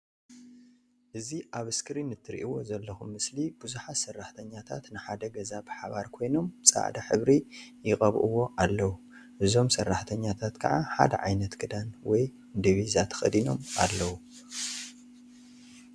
እዚ ኣብ እስክሪን እትሪእዎ ዘለኩም ምስሊ ብዙሓት ሰራሕተኛታት ንሓደ ገዛ ብሓባር ኮይኖም ፃዕዳ ሕብሪ ይቀብእዎ ኣለዉ። እዞም ሰራሕተኛታት ከዓ ሓደ ዓይነት ክዳን ወይ ዲቢዛ ተከዲኖም ኣለዉ